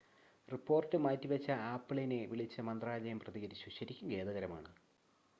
"Report മാറ്റിവച്ച ആപ്പിളിനെ വിളിച്ച് മന്ത്രാലയം പ്രതികരിച്ചു "ശരിക്കും ഖേദകരമാണ്.""